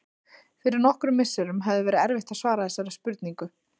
Fyrir nokkrum misserum hefði verið erfitt að svara þessari spurningu.